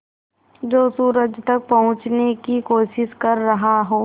जो सूरज तक पहुँचने की कोशिश कर रहा हो